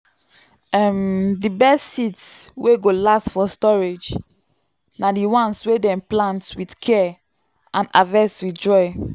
um the best seeds wey go last for storage na the ones wey dem plant with care and harvest with joy.